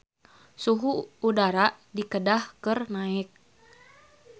Suhu udara di Kedah keur naek